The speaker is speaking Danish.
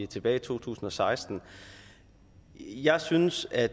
tilbage i to tusind og seksten jeg synes at